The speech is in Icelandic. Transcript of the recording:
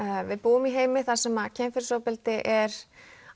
við búum í heimi þar sem kynferðisofbeldi er